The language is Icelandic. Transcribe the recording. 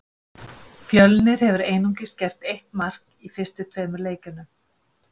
Fjölnir hefur einungis gert eitt mark í fyrstu tveimur leikjunum.